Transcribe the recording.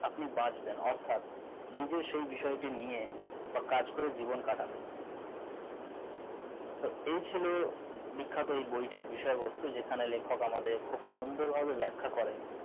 আপনি বাঁচবেন অর্থাৎ নিজের সেই বিষয়টি নিয়ে বা কাজ করে জীবন কাটাবেন তো এই ছিল এই বিখ্যাত বইটির বিষয়বস্তু যেখানে লেখক আমাদের খুব সুন্দর ভাবে ব্যাখ্যা করেন